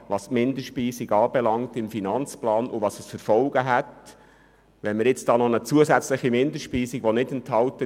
Dabei geht es um die Minderspeisung im AFP und deren Folgen.